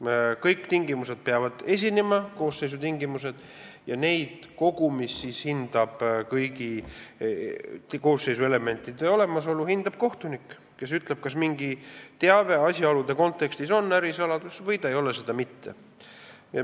Kõik koosseisu tingimused peavad esinema ja neid hindab kogumis, kõigi koosseisu elementide olemasolu hindab kohtunik, kes ütleb, kas mingi teave asjaolude kontekstis on ärisaladus või ta ei ole seda mitte.